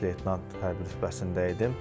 Baş leytenant hərbi rütbəsində idim.